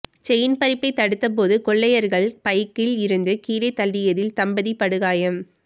chain பறிப்பை தடுத்தபோது கொள்ளையர்கள் பைக்கில் இருந்து கீழே தள்ளியதில் தம்பதி படுகாயம்